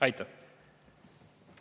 Aitäh!